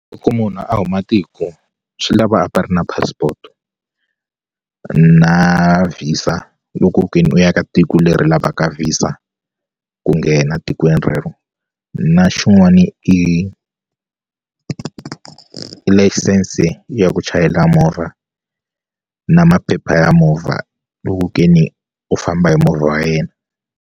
Loko munhu a huma tiko swi lava a va ri na passport na visa a loko ke ni u ya ka tiko leri lavaka visa ku nghena tikweni rero na xin'wana i i layisense ya ku chayela movha na maphepha ya movha loku ke ni u famba hi movha wa yena.